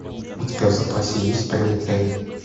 у тебя в запасе есть прометей